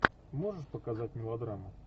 можешь показать мелодраму